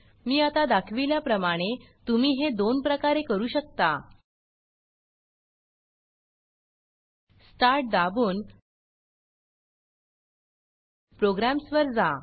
मी आता दाखविल्या प्रमाणे तुम्ही हे दोन प्रकारे करू शकता startस्टार्ट दाबून Programsप्रोग्रॅम्स् वर जा